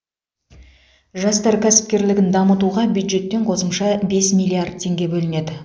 жастар кәсіпкерлігін дамытуға бюджеттен қосымша бес миллиард теңге бөлінеді